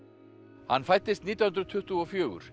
hann fæddist nítján hundruð tuttugu og fjögur í